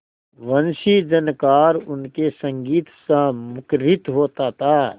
वंशीझनकार उनके संगीतसा मुखरित होता था